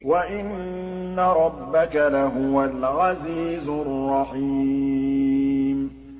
وَإِنَّ رَبَّكَ لَهُوَ الْعَزِيزُ الرَّحِيمُ